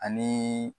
Ani